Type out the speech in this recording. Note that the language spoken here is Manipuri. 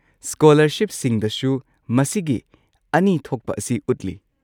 ꯁ꯭ꯀꯣꯂꯔꯁꯤꯞꯁꯤꯡꯗꯁꯨ ꯃꯁꯤꯒꯤ ꯑꯅꯤ ꯊꯣꯛꯄ ꯑꯁꯤ ꯎꯠꯂꯤ꯫